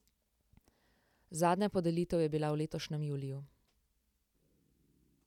Zadnja podelitev je bila v letošnjem juliju.